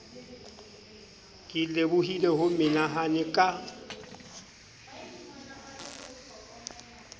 ke lebohile ho menahane ka